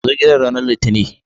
Zo gidan ranar litinin.